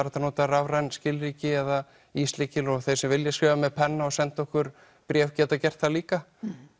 hægt að nota rafræn skilríki eða íslykil og þeir sem vilja skrifa með penna og senda okkur bréf geta gert það líka